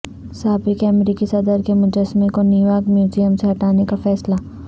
سابق امریکی صدر کے مجسمے کو نیویارک میوزیم سے ہٹانے کا فیصلہ